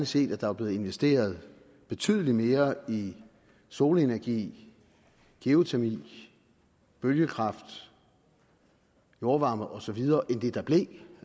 set at der var blevet investeret betydelig mere i solenergi geotermi bølgekraft jordvarme og så videre end det der blev